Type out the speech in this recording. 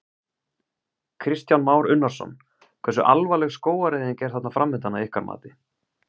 Kristján Már Unnarsson: Hversu alvarleg skógareyðing er þarna framundan að ykkar mati?